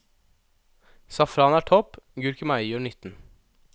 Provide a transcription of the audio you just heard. Safran er topp, gurkemeie gjør nytten.